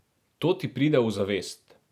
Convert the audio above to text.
To ti pride v zavest.